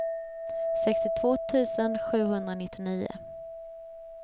sextiotvå tusen sjuhundranittionio